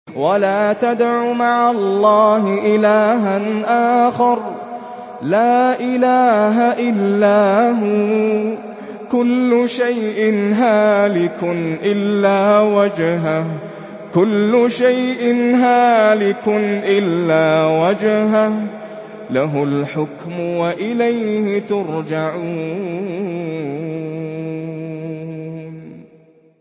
وَلَا تَدْعُ مَعَ اللَّهِ إِلَٰهًا آخَرَ ۘ لَا إِلَٰهَ إِلَّا هُوَ ۚ كُلُّ شَيْءٍ هَالِكٌ إِلَّا وَجْهَهُ ۚ لَهُ الْحُكْمُ وَإِلَيْهِ تُرْجَعُونَ